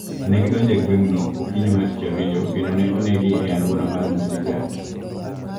Ne gidonjo e gweng`no okiny mar tich ariyo kendo ne oneggi e alwora mar Musigat